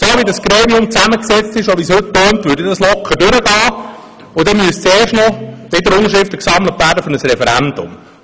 So, wie das Gremium heute zusammengesetzt ist und wie es heute klingt, würde das ja locker durchkommen, und dann müssten erst noch wieder Unterschriften gesammelt werden für ein Referendum.